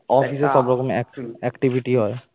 office এ সব রকম activity activity হয়